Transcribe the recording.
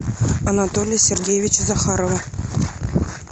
анатолия сергеевича захарова